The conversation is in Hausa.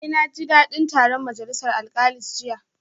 Eh naji dadin taron majalisar alkalis jiya